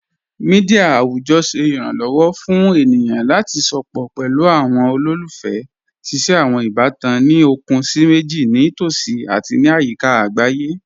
Mẹdia awujọ ṣẹ iranlọwọ fun ènìyàn lati sọpọ̀ pẹ̀lú awọn olólùfẹ́, ṣíṣẹ̀ awọn ìbàtàn ní okun síì mẹjìì ni tosí ati ní ayika agbáyé.